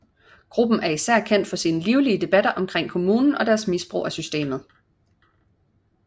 Gruppen er især kendt for sine livlige debatter omkring kommunen og deres misbrug af systemet